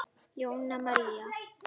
Jóna María.